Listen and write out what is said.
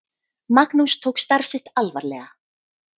Magnús tók starf sitt alvarlega.